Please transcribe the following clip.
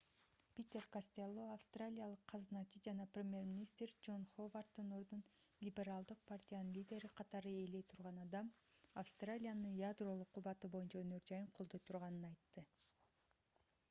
питер костелло австралиялык казыначы жана премьер-министр джон ховарддын ордун либералдык партиянын лидери катары ээлей турган адам австралиянын ядролук кубаты боюнча өнөр-жайын колдой турганын айтты